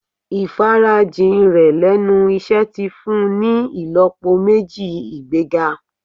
Ìfarajìn rẹ̀ lẹ́nu iṣẹ́ ti fun ni ìlọ́po méjì ìgbéga.